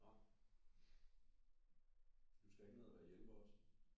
Nej. Du skal ikke ned og være hjælper også?